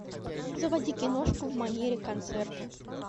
заводи киношку в манере концерта